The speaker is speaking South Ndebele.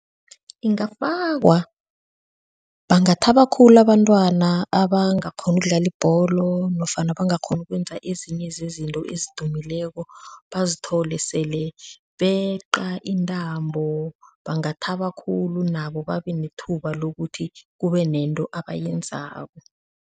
Ingafakwa, bangathaba khulu abantwana abangakghoni ukudlala ibholo nofana abangakghoni ukwenza ezinye zezinto ezidumeleko bazithole sele beqa intambo bangathaba khulu nabo babe nethuba lokuthi kube nento abayenzako.